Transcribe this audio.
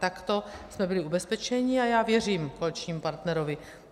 Takto jsme byli ubezpečeni a já věřím koaličnímu partnerovi.